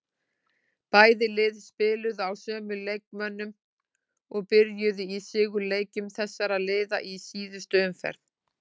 Bæði lið spiluðu á sömu leikmönnum og byrjuðu í sigurleikjum þessara liða í síðustu umferð.